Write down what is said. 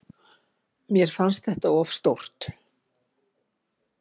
Mér fannst þetta of stórt.